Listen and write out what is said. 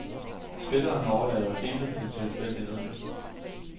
Spilleren overlader intet til tilfældighederne.